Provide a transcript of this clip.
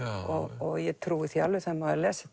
og ég trúi því alveg þegar maður les